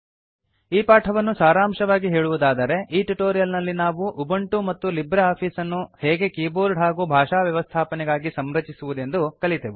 ಈ ಪಾಠವನ್ನು ಸಾರಾಂಶವಾಗಿ ಹೇಳುವುದಾದರೆ ಈ ಟ್ಯುಟೋರಿಯಲ್ ನಲ್ಲಿ ನಾವು ಉಬಂಟು ಮತ್ತು ಲಿಬ್ರೆ ಆಫೀಸ್ ಅನ್ನು ಹೇಗೆ ಕೀಬೋರ್ಡ್ ಹಾಗೂ ಭಾಷಾವ್ಯವಸ್ಥಾಪನೆಗಾಗಿ ಸಂರಚಿಸುವುದೆಂದು ಕಲಿತೆವು